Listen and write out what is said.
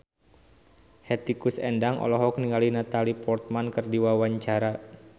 Hetty Koes Endang olohok ningali Natalie Portman keur diwawancara